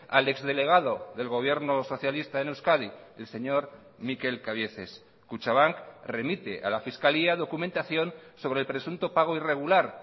al ex delegado del gobierno socialista en euskadi el señor mikel cabieces kutxabank remite a la fiscalía documentación sobre el presunto pago irregular